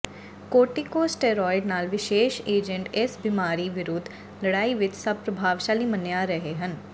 corticosteroid ਨਾਲ ਵਿਸ਼ੇਸ਼ agent ਇਸ ਬੀਮਾਰੀ ਵਿਰੁੱਧ ਲੜਾਈ ਵਿਚ ਸਭ ਪ੍ਰਭਾਵਸ਼ਾਲੀ ਮੰਨਿਆ ਰਹੇ ਹਨ